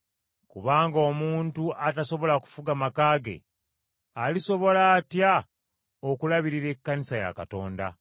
Kubanga omuntu atasobola kufuga maka ge, alisobola atya okulabirira ekkanisa ya Katonda?